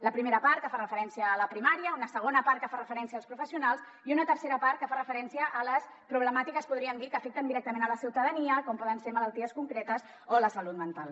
la primera part que fa referència a la primària una segona part que fa referència als professionals i una tercera part que fa referència a les problemàtiques en podríem dir que afecten directament la ciutadania com poden ser malalties concretes o la salut mental